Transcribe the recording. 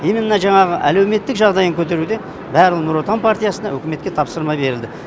именно жаңағы әлеуметтік жағдайын көтеруде барлық нұр отан партиясына үкіметке тапсырма берілді